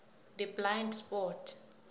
the blind spot